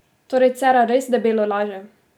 Torej Cerar res debelo laže?